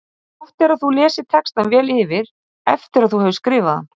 Eins og alkunna er þá þenst vatn út þegar það er fryst.